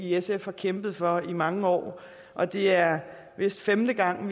sf har kæmpet for i mange år og det er vist femte gang